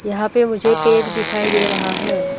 यहां पे मुझे पेड़ दिखाई दे रहा है।